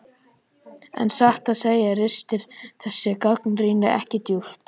En satt að segja ristir þessi gagnrýni ekki djúpt.